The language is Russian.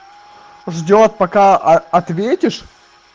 ждёт пока ответишь